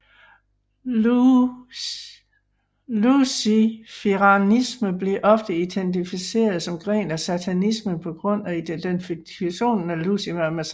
Luciferianisme bliver ofte identificeret som gren af satanismen på grund af identifikationen af Lucifer med Satan